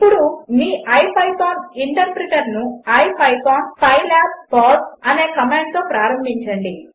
ఇప్పుడు మీ ఇపిథాన్ ఇంటర్ప్రిటర్ను ఇపిథాన్ pylabltPausegt అనే కమాండ్తో ప్రారంభించండి